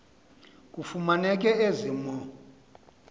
kufumaneke ezi mo